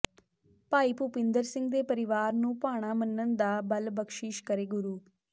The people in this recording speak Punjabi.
ਭਾਈ ਭੁਪਿੰਦਰ ਸਿੰਘ ਦੇ ਪਰਿਵਾਰ ਨੂੰ ਭਾਣਾ ਮੰਨਣ ਦਾ ਬਲ ਬਖਸ਼ਿਸ਼ ਕਰੇ ਗੁਰੂ